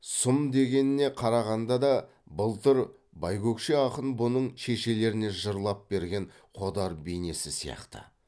сұм дегеніне қарағанда да былтыр байкөкше ақын бұның шешелеріне жырлап берген қодар бейнесі сияқты